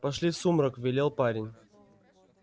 пошли в сумрак велел парень